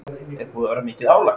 Helga: Er búið að vera mikið álag?